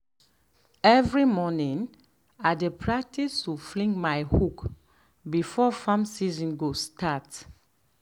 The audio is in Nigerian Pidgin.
every morning i dey practice to fling my hoe before farm season go start.